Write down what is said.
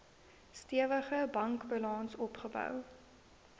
stewige bankbalans opgebou